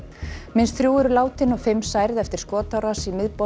minnst þrjú eru látin og fimm særð eftir skotárás í miðborg